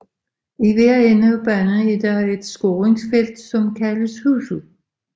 I hver ende af banen er der et scoringsfelt som kaldes huset